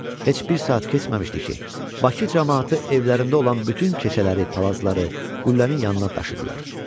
Heç bir saat keçməmişdi ki, Bakı camaatı evlərində olan bütün keçələri, palazları qüllənin yanına daşıdılar.